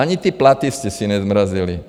Ani ty platy jste si nezmrazili.